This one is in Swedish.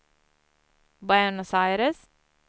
Buenos Aires